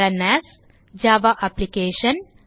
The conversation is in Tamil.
run as Java application